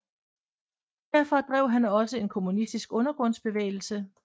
Herfra drev han også en kommunistisk undergrundsbevægelse